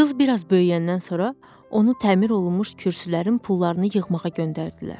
Qız bir az böyüyəndən sonra onu təmir olunmuş kürsülərin pullarını yığmağa göndərdilər.